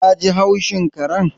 Ka ji haushin karen